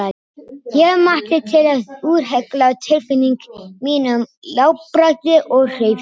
Ég mátti til að úthella tilfinningum mínum í látbragði og hreyfingum.